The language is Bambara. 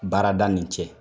Baarada nin cɛ.